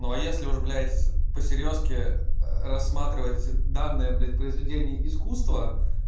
ну а если уж блядь по серьёзке рассматривать данные блядь произведение искусства